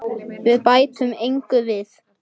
Við bætum engu við.